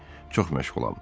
Çox məşğulam.